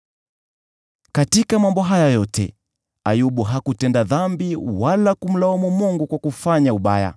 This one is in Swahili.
Katika mambo haya yote, Ayubu hakutenda dhambi kwa kumlaumu Mungu kwa kufanya ubaya.